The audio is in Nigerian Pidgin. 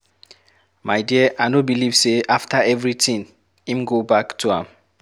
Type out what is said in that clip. My dear I no believe say after everything, im go back to am.